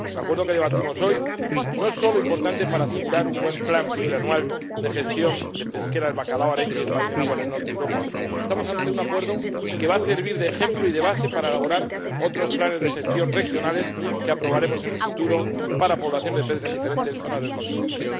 El Acuerdo que debatimos hoy no es solo importante para asegurar un buen plan plurianual de gestión pesquera del bacalao, arenque y espadín en aguas del norte de Europa estamos ante un Acuerdo que va a servir de ejemplo y de base para elaborar otros planes de gestión regionales, que aprobaremos en el futuro, para poblaciones de peces en diferentes zonas del continente.